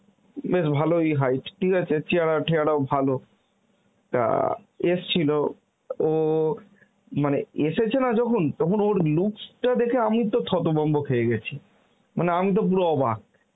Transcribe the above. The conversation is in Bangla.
বেশ ভালই height, ঠিক আছে চেহারা ঠেহারাও ভালো এসছিল ও মানে এসেছে না যখন তখন ওর looks টা দেখে আমি তো থতভম্ব খেয়ে গেছি মানে, আমি তো পুরো অবাক